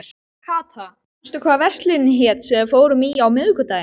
Kata, manstu hvað verslunin hét sem við fórum í á miðvikudaginn?